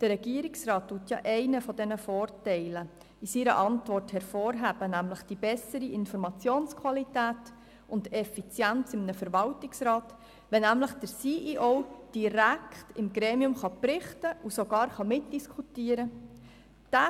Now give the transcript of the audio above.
Der Regierungsrat hebt einen dieser Vorteile in seiner Antwort hervor, nämlich die bessere Informationsqualität und Effizienz im Verwaltungsrat, wenn der CEO direkt in diesem Gremium berichten und sogar mitdiskutieren kann.